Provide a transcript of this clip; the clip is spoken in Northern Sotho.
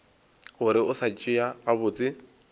gore o sa tšea gabotse